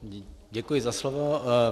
Děkuji za slovo.